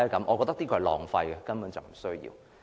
我覺得這是浪費的，根本不需要。